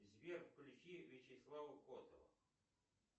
сбер включи вячеслава котова